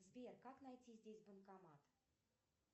сбер как найти здесь банкомат